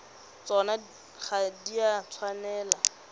tsona ga di a tshwanela